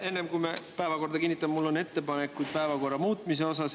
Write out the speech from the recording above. Enne, kui me päevakorra kinnitame, on mul ettepanekuid päevakorra muutmiseks.